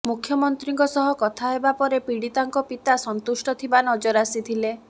ମୁଖ୍ୟମନ୍ତ୍ରୀଙ୍କ ସହ କଥା ହେବାପରେ ପୀଡିତାଙ୍କ ପିତା ସନ୍ତୁଷ୍ଟ ଥିବା ନଜର ଆସିଥିଲେ